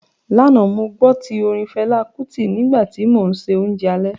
Lánàá, mo gbó tí orin Fẹlá Kútì nígbà tí mò ń se oúnjẹ alẹ́